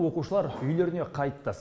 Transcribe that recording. оқушылар үйлеріне қайтты